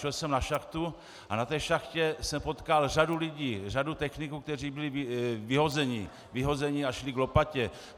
Šel jsem na šachtu a na té šachtě jsem potkal řadu lidí, řadu techniků, kteří byli vyhozeni a šli k lopatě.